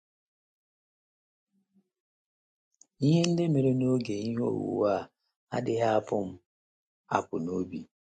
Ihe ndị mere n’oge ihe owuwu a adịghị apụ m apụ n’obi.